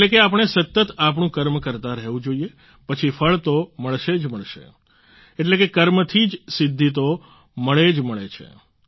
એટલે કે આપણે સતત આપણું કર્મ કરતા રહેવું જોઈએ પછી ફળ તો મળશે જ મળશે એટલે કે કર્મ થી જ સિદ્ધી તો મળે જ મળે છે